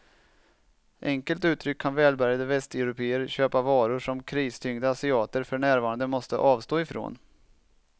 Enkelt uttryckt kan välbärgade västeuropéer köpa varor som kristyngda asiater för närvarande måste avstå ifrån.